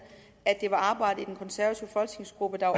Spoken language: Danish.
at det var arbejdet i den konservative folketingsgruppe der var